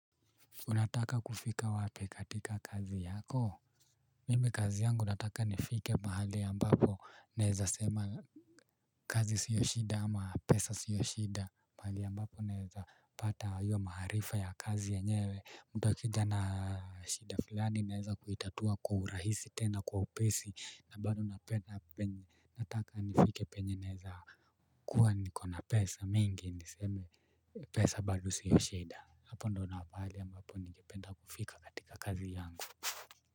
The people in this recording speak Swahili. Unataka kufika wapi katika kazi yako? Mimi kazi yangu nataka nifike mahali ambapo naweza sema kazi sio shida ama pesa sio shida. Mahali ambapo naweza pata hiyo maarifa ya kazi ya yenyewe. Mtu akija na shida fulani naweza kuitatua kwa urahisi tena kwa upesi na bado na pena-- penye--. Nataka nifike penye naweza kuwa nikona pesa mingi niseme pesa bado sio shida. Hapo ndio na-- mahali ambapo ningependa kufika katika kazi yangu.